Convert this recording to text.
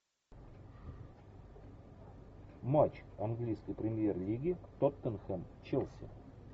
матч английской премьер лиги тоттенхэм челси